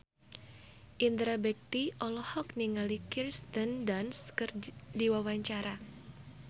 Indra Bekti olohok ningali Kirsten Dunst keur diwawancara